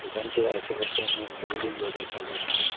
দোকানটির আশেপাশে অনেক বিল্ডিংও দেখা যাচ্ছে।